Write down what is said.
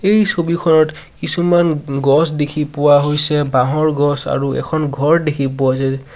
এই ছবিখনত কিছুমান উন গছ দেখি পোৱা হৈছে বাঁহৰ গছ আৰু এখন ঘৰ দেখি পোৱা হৈছে যে--